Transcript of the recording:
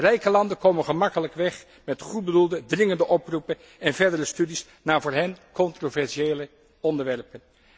Rijke landen komen gemakkelijk weg met goedbedoelde, dringende oproepen en verdere studies naar voor hen controversiële onderwerpen.